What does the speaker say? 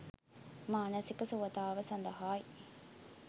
මානසික සුවතාව සඳහා යි.